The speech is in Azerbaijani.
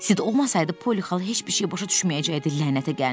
Sid olmasaydı, Poli xala heç bir şey başa düşməyəcəkdi, lənətə gəlmiş.